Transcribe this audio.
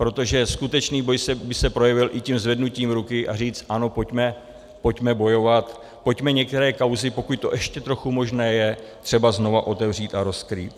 Protože skutečný boj by se projevil i tím zvednutím ruky, a říci ano, pojďme bojovat, pojďme některé kauzy, pokud to ještě trochu možné je, třeba znovu otevřít a rozkrýt.